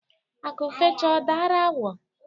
Akụ fecha ọ dara awọ.